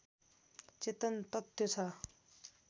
चेतन तत्त्व छ